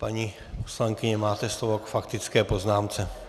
Paní poslankyně, máte slovo, k faktické poznámce.